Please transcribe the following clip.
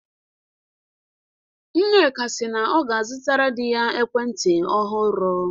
Nneka si na ọ ga-azụtara di ya ekwentị ọhụrụ.